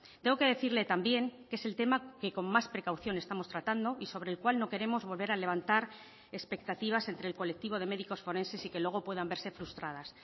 tengo que decirle también que es el tema que con más precaución estamos tratando y sobre el cual no queremos volver a levantar expectativas entre el colectivo de médicos forenses y que luego puedan verse frustradas